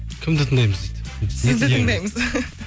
кімді тыңдаймыз дейді сізді тыңдаймыз